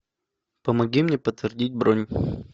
помоги мне подтвердить бронь